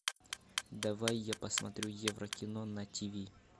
давай я посмотрю евро кино на ти ви